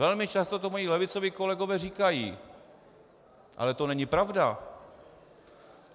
Velmi často to moji levicoví kolegové říkají, ale to není pravda!